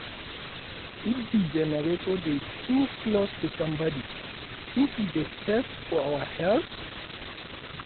if di generator dey too close make sombodi tink e dey safe for our health?